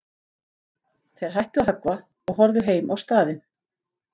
Þeir hættu að höggva og horfðu heim á staðinn.